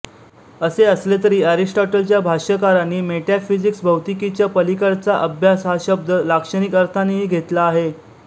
असे असले तरी एरिस्टॉटलच्या भाष्यकारांनी मेटॅफिजिक्स भौतिकीच्या पलीकडचा अभ्यास हा शब्द लाक्षणिक अर्थानेही घेतला आहे